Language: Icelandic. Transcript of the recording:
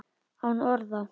Án orða.